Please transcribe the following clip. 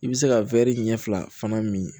I bɛ se ka ɲɛ fila fana min